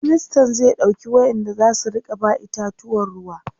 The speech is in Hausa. ministan zai ɗauki wayanda zasu Rika ba itatuwan ruwa